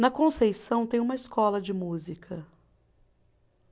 Na Conceição tem uma escola de música.